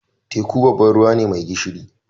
Teku babban ruwa ne mai gishiri.